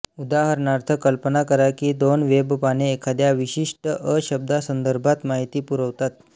उदाहरणार्थ कल्पना करा की दोन वेबपाने एखाद्या विशिष्ट अ शब्दासंदर्भात माहिती पुरवतात